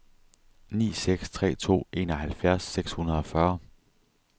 ni seks tre to enoghalvfjerds seks hundrede og fyrre